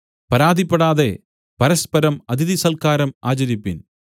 പരാതിപ്പെടാതെ പരസ്പരം അതിഥിസൽക്കാരം ആചരിപ്പിൻ